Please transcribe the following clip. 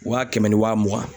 Wa kɛmɛ ni wa mugan.